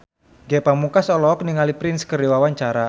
Ge Pamungkas olohok ningali Prince keur diwawancara